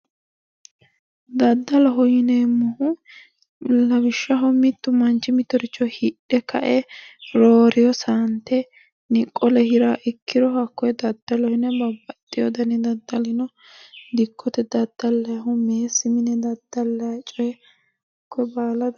Daddaloho yineemmohu lawishshaho mittu manchi mittooricho hidhe ka"e rooreeyo saantenni qole hiraaha ikkiro hakkonne daddaloho yine babbaxxiteyo daddalino dikkote daddallayihu meessi mine daddallayhu coyi konne baala daddaloho yineemmo